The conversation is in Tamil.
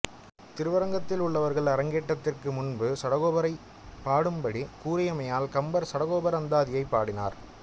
திருவரங்கத்தில் உள்ளவர்கள் அரங்கேற்றத்திற்கு முன்பு சடகோபரைப் பாடும் படி கூறியமையால் கம்பர் சடகோபர் அந்தாதியைப் பாடினார்